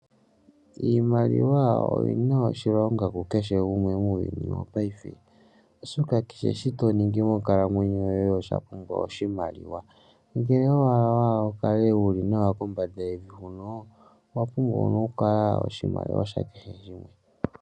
Iimaliwa oyina oshilonga ku kehe gumwe muuyuni wo payife, oshoka kehe shimwe toningi monkalamwenyo yoye owapumbwa oshimaliwa. Ngele owa hala wukale nawa kombanda yevi huno owapumbwa okukala wuna oshimaliwa shake he shimwe.